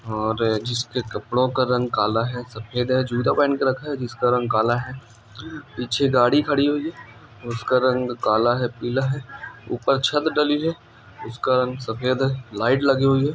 और जिसके कपड़ों का रंग काला है सफेद है जूते पहन के रखा है जिसका रंग काला है पीछे गाड़ी खड़ी हुई है और उसका रंग काला है पीला है ऊपर छत डली है उसका रंग सफेद है लाइट लगी हुई है ।